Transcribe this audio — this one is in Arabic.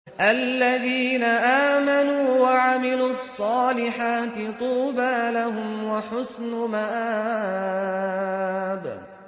الَّذِينَ آمَنُوا وَعَمِلُوا الصَّالِحَاتِ طُوبَىٰ لَهُمْ وَحُسْنُ مَآبٍ